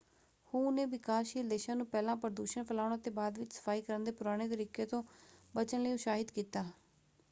ਹੂ ਨੇ ਵਿਕਾਸਸ਼ੀਲ ਦੇਸ਼ਾਂ ਨੂੰ ਪਹਿਲਾਂ ਪ੍ਰਦੂਸ਼ਣ ਫੈਲਾਉਣ ਅਤੇ ਬਾਅਦ ਵਿੱਚ ਸਫਾਈ ਕਰਨ ਦੇ ਪੁਰਾਣੇ ਤਰੀਕੇ ਤੋਂ ਬਚਣ ਲਈ ਉਤਸ਼ਾਹਤ ਕੀਤਾ।